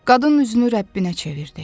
Qadın üzünü Rəbbinə çevirdi.